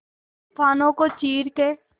तूफानों को चीर के